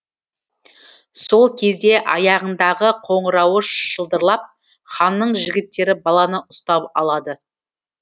сол кезде аяғындағы қоңырауы шылдырлап ханның жігіттері баланы ұстап алады